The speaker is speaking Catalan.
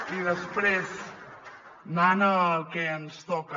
i després anant al que ens toca